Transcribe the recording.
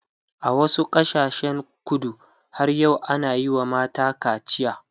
a wasu ƙasashen kudu har yau ana Yi wa mata kacia